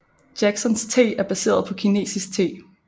Jacksons te er baseret på kinesisk te